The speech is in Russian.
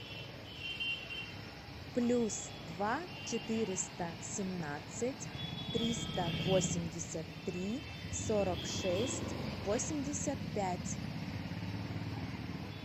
плюс два четыреста семнадцать триста восемьдесят три сорок шесть восемьдесят пять